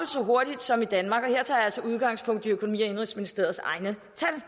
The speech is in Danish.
så hurtigt som i danmark og her tager jeg tager udgangspunkt i økonomi og indenrigsministeriets egne